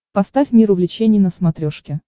поставь мир увлечений на смотрешке